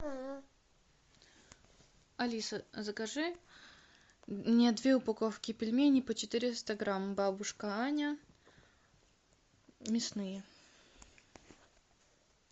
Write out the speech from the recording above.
алиса закажи мне две упаковки пельменей по четыреста грамм бабушка аня мясные